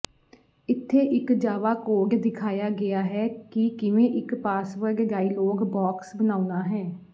ਇੱਥੇ ਇੱਕ Java code ਦਿਖਾਇਆ ਗਿਆ ਹੈ ਕਿ ਕਿਵੇਂ ਇਕ ਪਾਸਵਰਡ ਡਾਇਲੌਗ ਬੌਕਸ ਬਣਾਉਣਾ ਹੈ